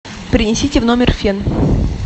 принесите в номер фен